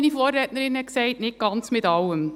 Nicht mit ganz allem.